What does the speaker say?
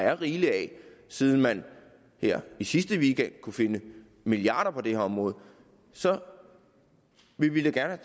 er rigeligt af siden man her i sidste weekend kunne finde milliarder på det område så ville vi da gerne